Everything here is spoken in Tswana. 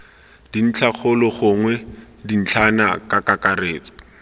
ntlhakgolo gongwe dintlhana ka kakaretso